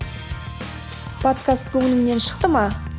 подкаст көңіліңнен шықты ма